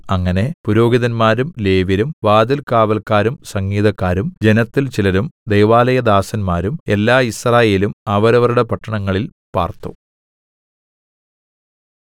അങ്ങനെ പുരോഹിതന്മാരും ലേവ്യരും വാതിൽകാവല്ക്കാരും സംഗീതക്കാരും ജനത്തിൽ ചിലരും ദൈവാലയദാസന്മാരും എല്ലാ യിസ്രായേലും അവരവരുടെ പട്ടണങ്ങളിൽ പാർത്തു